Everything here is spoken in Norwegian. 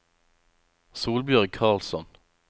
Solbjørg Karlsson